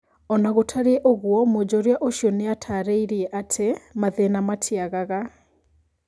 Onagũtarie ũguo, Mwonjoria ũcio nĩatarĩirie atĩ mathĩna matiagaga